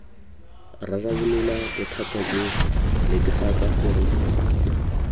rarabolola bothata jo netefatsa gore